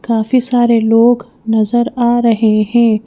काफी सारे लोग नजर आ रहे हैं।